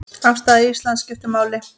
Afstaða Íslands skiptir máli.